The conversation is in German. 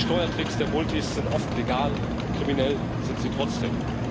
Die Steuertricks der Multis sind oft legal, doch kriminell sind sie trotzdem.